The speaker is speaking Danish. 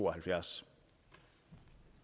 og halvfjerds og